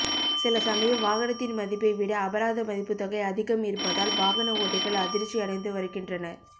சில சமயம் வாகனத்தின் மதிப்பை விட அபராத மதிப்பு தொகை அதிகம் இருப்பதால் வாகன ஓட்டிகள் அதிர்ச்சி அடைந்து வருகின்றனர்